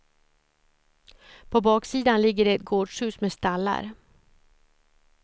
På baksidan ligger det ett gårdshus med stallar.